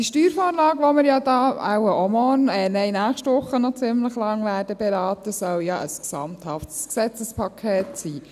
Die Steuervorlage, die wir wohl auch morgen – ich korrigiere mich –, auch nächste Woche ziemlich lange beraten werden, soll ja ein gesamthaftes Gesetzespaket sein.